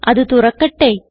അത് തുറക്കട്ടെ